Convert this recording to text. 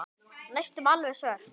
Næstum alveg svört.